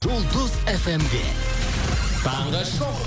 жұлдыз фмде таңғы шоу